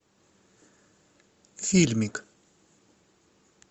фильмик